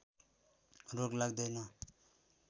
रोग लाग्दैन